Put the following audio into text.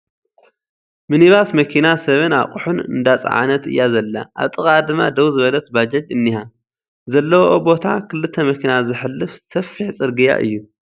ምኒባስ መኪና ሰብን ኣቑሑን እንዳፀዓነት እያ ዘላ ኣብ ጥቓኣ ድማ ደው ዝበለት ባጃጅ እኒሃ ፡ ዘለዎኦ ቦታ ክልተ መኪና ዘሕልፍ ሰፊሕ ጽርግያ እዩ ።